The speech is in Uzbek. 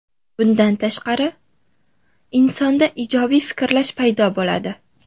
Bundan tashqari, insonda ijobiy fikrlash paydo bo‘ladi.